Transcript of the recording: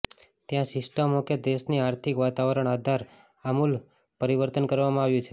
ત્યાં સિસ્ટમો કે દેશની આર્થિક વાતાવરણ આધાર આમૂલ પરિવર્તન કરવામાં આવ્યું છે